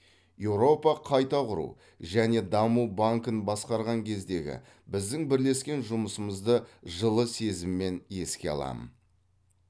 еуропа қайта құру және даму банкін басқарған кездегі біздің бірлескен жұмысымызды жылы сезіммен еске аламын